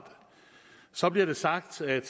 så bliver det sagt at